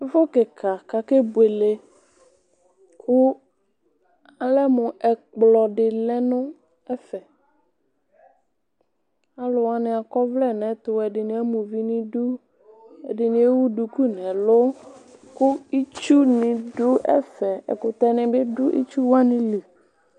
Ɛfʋ kika kʋ akɛ buele kʋ ɔlɛmʋ ɛkplɔ di lɛnʋ ɛfɛ alʋ wani akɔ ɔvlɛ nʋ ɛtʋ ɛdini ama ʋvi nʋ idʋ ɛdini ewʋ duku nʋ ɛlʋ kʋ itsu nidʋ ɛfɛ ɛkʋtɛ nibi dʋ itsu wani li